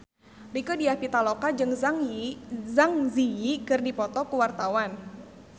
Rieke Diah Pitaloka jeung Zang Zi Yi keur dipoto ku wartawan